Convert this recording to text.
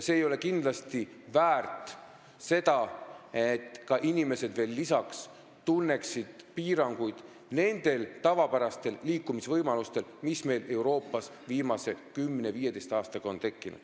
See ei ole kindlasti väärt ka seda, et inimesed tunneksid lisaks piiranguid oma tavapärastele liikumisvõimalustele, mis meil on Euroopas viimase 10–15 aastaga tekkinud.